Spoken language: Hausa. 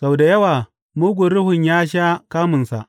Sau da yawa mugun ruhun ya sha kamunsa.